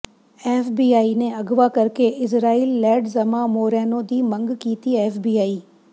FBI ਨੇ ਅਗਵਾ ਕਰਕੇ ਇਜ਼ਰਾਇਲ ਲੈਡਜ਼ਮਾ ਮੋਰੈਨੋ ਦੀ ਮੰਗ ਕੀਤੀ ਐਫਬੀਆਈ